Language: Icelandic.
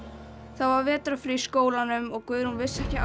það var vetrarfrí í skólanum og Guðrún vissi ekki